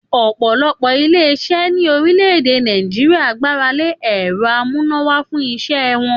Òpòlopò ilé isé ní orílè-èdè Nàìjíríà gbáralé èro amúnáwá fún isé won